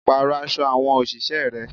Parọ aṣọ àwọn òṣìṣẹ́ rẹ.